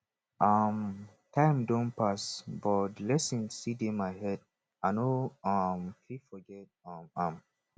um time don pass but the lesson still dey my head i no um fit forget um am